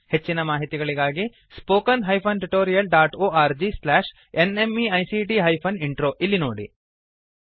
ಹೆಚ್ಚಿನ ಮಾಹಿತಿಗಾಗಿ spoken hyphen tutorial dot org slash NMEICT hyphen intro ಇಲ್ಲಿ ನೋಡಿ